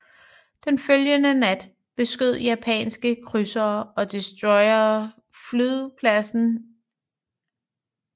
Den følgende nat beskød japanske krydsere og destroyere flyvepladsen Henderson Field og ødelagde 48 af de 90 der stationerede kampfly